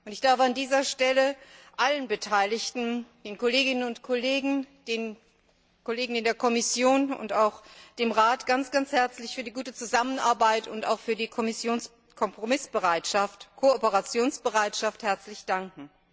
Ich darf an dieser Stelle allen Beteiligten, den Kolleginnen und Kollegen, den Kollegen in der Kommission und auch dem Rat ganz herzlich für die gute Zusammenarbeit und auch für die Kompromiss und Kooperationsbereitschaft danken.